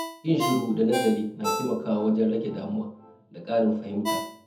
Yin shiru da nazari na taimakawa wajen rage damuwa da ƙarin fahimta.